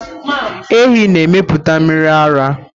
Ehi na emepụta mmiri ara.